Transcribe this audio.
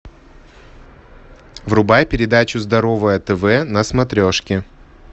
врубай передачу здоровое тв на смотрешке